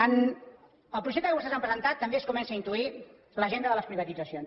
en el projecte que vostès han presentat també es comença a intuir l’agenda de les privatitzacions